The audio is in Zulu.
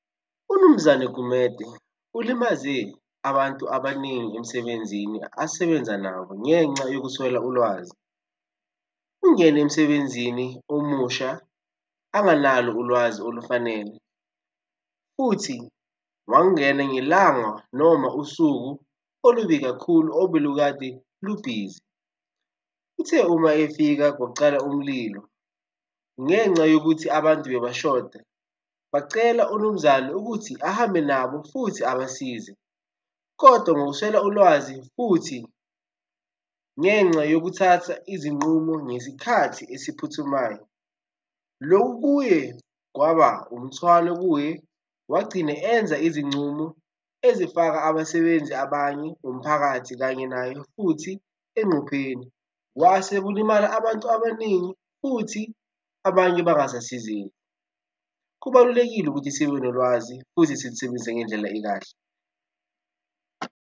UMnumzane Gumede ulimaze abantu abaningi emsebenzini asebenza nabo ngenxa yokuswela ulwazi. Ungene emsebenzini omusha anganalo ulwazi olufanele futhi wangena ngelanga noma usuku olubi kakhulu obelukade lubhizi. Uthe uma efika kwacala umlilo ngenca yokuthi abantu bebashoda bacela uMnumzane ukuthi ahambe nabo futhi abasize, kodwa ngokuswela ulwazi futhi ngenxa yokuthatha izinqumo ngesikhathi esiphuthumayo. Lokhu kuye kwaba umthwalo kuye, wagcina enza izincumo ezifaka abasebenzi abanye nomphakathi kanye naye futhi engcupheni, wase kulimala abantu abaningi futhi abanye bangasasizeki. Kubalulekile ukuthi sibe nolwazi futhi silusebenzise ngendlela ekahle.